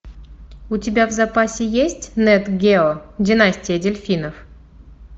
у тебя в запасе есть нат гео династия дельфинов